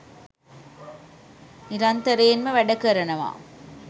නිරන්තරයෙන්ම වැඩකරනවා